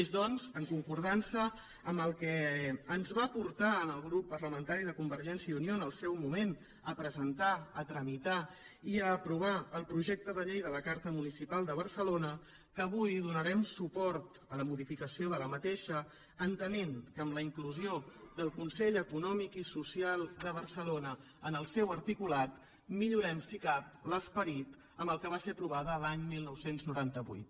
és doncs en concordança amb el que ens va portar al grup parlamentari de convergència i unió en el seu moment a presentar a tramitar i a aprovar el projecte de llei de la carta municipal de barcelona que avui donarem suport a la modificació d’aquesta entenent que amb la inclusió del consell econòmic i social de barcelona en el seu articulat millorem si això és possible l’esperit amb què va ser aprovada l’any dinou noranta vuit